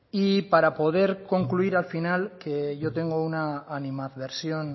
y para poder concluir al final que yo tengo una animadversión